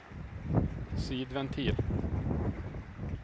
sidventil